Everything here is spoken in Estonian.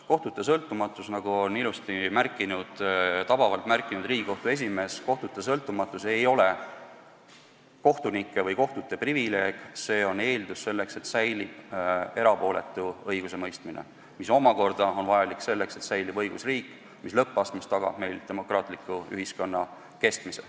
Kohtute sõltumatus, nagu on tabavalt märkinud Riigikohtu esimees, ei ole kohtunike või kohtute privileeg, see on eeldus selleks, et säilib erapooletu õigusemõistmine, mis omakorda on vajalik selleks, et säilib õigusriik, mis lõppastmes tagab meil demokraatliku ühiskonna kestmise.